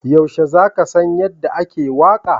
Yaushe za ka san yadda ake waƙa?